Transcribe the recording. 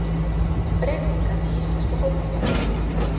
Breytingar í íslenska fótboltanum